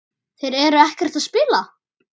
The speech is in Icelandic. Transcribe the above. Þeir eru ekkert að spila?